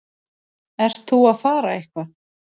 Ert þú að fara eitthvað?